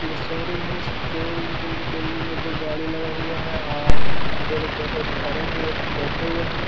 ये शोरूम है शोरूम के शोरूम के अंदर दो गाड़ी लगा हुआ है आर दो लोग बै एक खड़े है एक बैठे हुए हैं।